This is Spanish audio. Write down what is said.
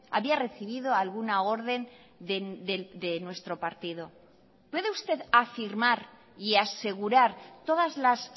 había recibido alguna orden de nuestro partido puede usted afirmar y asegurar todas las